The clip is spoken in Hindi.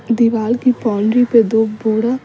दीवार की बाउन्ड्री पे दो बोड़ा --